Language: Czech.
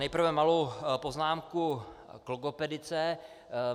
Nejprve malou poznámku k logopedice.